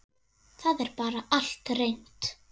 Það er bara allt reynt.